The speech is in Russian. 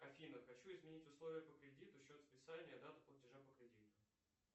афина хочу изменить условия по кредиту счет списания дата платежа по кредиту